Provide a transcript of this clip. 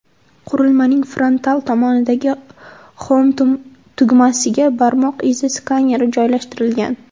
Qurilmaning frontal tomonidagi Home tugmasiga barmoq izi skaneri joylashtirilgan.